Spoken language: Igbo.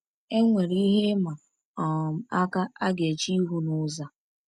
Enwere ihe ịma um aka a ga-eche ihu n’ụzọ a.